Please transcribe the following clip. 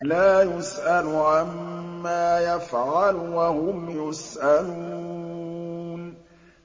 لَا يُسْأَلُ عَمَّا يَفْعَلُ وَهُمْ يُسْأَلُونَ